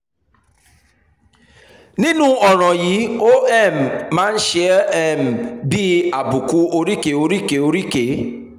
nírú ọ̀ràn yìí ó um máa ń ṣe um é bíi àbùkù oríkèé oríkèé oríkèé